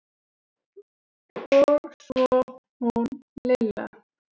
Og svo hún Lilla.